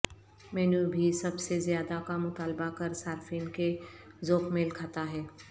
مینو بھی سب سے زیادہ کا مطالبہ کر صارفین کے ذوق میل کھاتا ہے